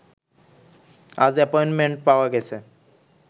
আজ অ্যাপয়েন্টমেন্ট পাওয়া গেছে